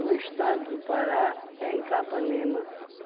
estado do Pará, em Capanema.